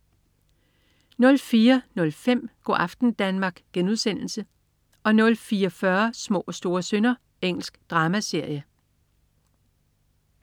04.05 Go' aften Danmark* 04.40 Små og store synder. Engelsk dramaserie